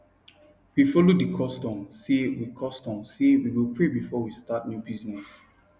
we follow the custom say we custom say we go pray before we start new business